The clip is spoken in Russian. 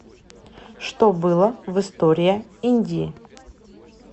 что было в история индии